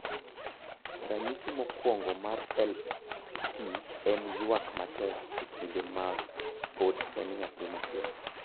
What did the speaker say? Ranyisi mokwongo mar LP en ywak matek e kinde ma pod en nyathi matin.